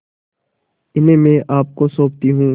इन्हें मैं आपको सौंपती हूँ